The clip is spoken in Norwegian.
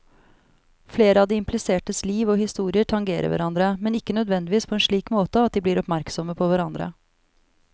Flere av de implisertes liv og historier tangerer hverandre, men ikke nødvendigvis på en slik måte at de blir oppmerksomme på hverandre.